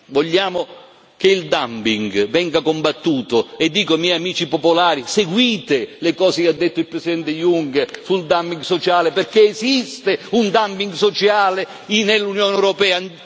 Vogliamo che il dumping venga combattuto, e dico ai miei amici Popolari seguite le cose che ha detto il presidente Juncker sul dumping sociale, perché esiste un dumping sociale nell'Unione europea.